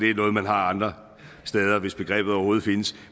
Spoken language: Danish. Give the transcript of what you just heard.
er noget man har andre steder hvis begrebet overhovedet findes